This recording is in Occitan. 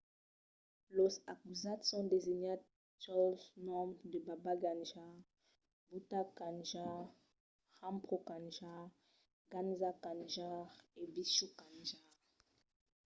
los acusats son designats jols noms de baba kanjar bhutha kanjar rampro kanjar gaza kanjar e vishnu kanjar